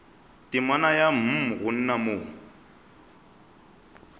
temana ya mm gona mo